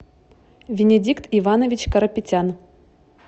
бенедикт иванович карапетян